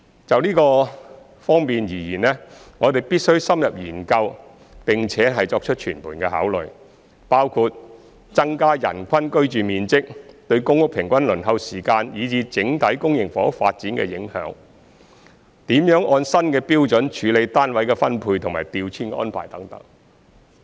就這方面而言，我們必須深入研究並作全盤考慮，包括增加人均居住面積對公屋平均輪候時間以至整體公營房屋發展的影響、怎樣按新標準處理單位的分配和調遷安排等。